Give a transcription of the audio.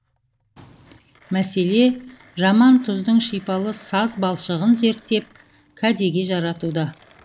мәселе жамантұздың шипалы саз балшығын зерттеп кәдеге жаратуда